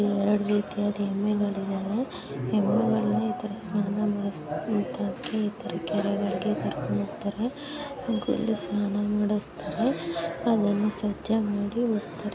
ಇಲ್ಲಿ ಎರಡು ರೀತಿಯಾದ ಎಮ್ಮೆಗಳಿದಾವೆ. ಎಮ್ಮೆಗಳನ್ನು ಈ ತರ ಸ್ನಾನ ಮಾಡಿಸಲು ಈ ತರ ಈ ತರ ಕೆರೆಗಳಿಗೆ ಕರ್ಕೊಂಡು ಹೋಗ್ತಾರೆ. ಹಾಗು ಇಲ್ಲಿ ಸ್ನಾನ ಮಾಡ್ಸ್ತಾರೆ. ಆಮೇಲೆ ಸ್ವಚ್ಛ ಮಾಡಿ ಹೋಗ್ತಾರೆ.